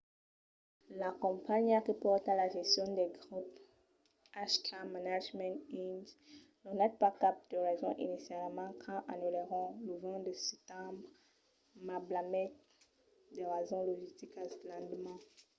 la companhiá que pòrta la gestion del grop hk management inc. donèt pas cap de rason inicialament quand anullèron lo 20 de setembre mas blasmèt de rasons logisticas l'endeman